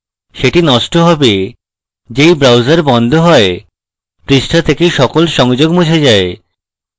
সেটি নষ্ট হবে they browser বন্ধ হয়পৃষ্ঠা থেকে সকল সংযোগ মুছে যায়